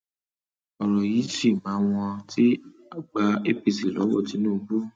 ọrọ yìí ṣì máa wọn ti gba apc lọwọ tinubu o